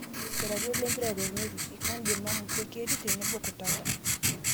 Iratiot lempira temerrueshi; Kandima, Musekeri tenebo Kutata